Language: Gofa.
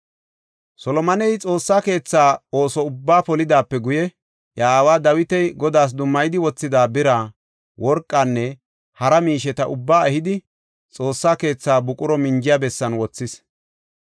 Solomoney Xoossa keetha ooso ubbaa polidaape guye iya aaway Dawiti Godaas dummayidi wothida bira, worqanne hara miisheta ubbaa ehidi, Xoossa keetha buqura minjiya bessan wothis.